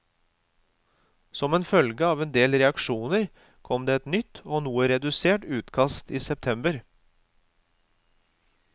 Som en følge av en del reaksjoner kom det et nytt og noe redusert utkast i september.